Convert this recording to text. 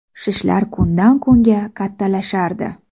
Shishlar kundan-kunga kattalashardi.